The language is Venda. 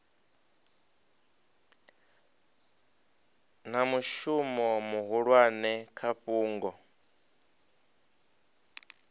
na mushumo muhulwane kha fhungo